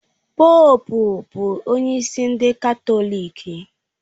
Poópu bụ onye isi ndị Katọlik